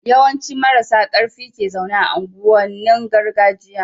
yawan ci marasa karfin ke zaune a unguwan nin gargajiya